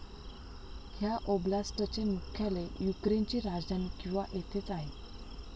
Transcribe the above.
ह्या ओब्लास्टचे मुख्यालय युक्रेनची राजधानी क्यिवा येथेच आहे.